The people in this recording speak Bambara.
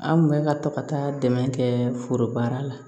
An kun bɛ ka to ka taa dɛmɛ kɛ foro baara la